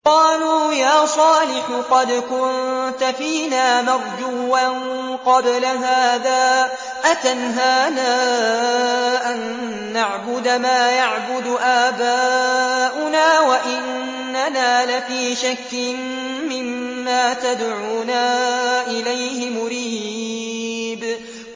قَالُوا يَا صَالِحُ قَدْ كُنتَ فِينَا مَرْجُوًّا قَبْلَ هَٰذَا ۖ أَتَنْهَانَا أَن نَّعْبُدَ مَا يَعْبُدُ آبَاؤُنَا وَإِنَّنَا لَفِي شَكٍّ مِّمَّا تَدْعُونَا إِلَيْهِ مُرِيبٍ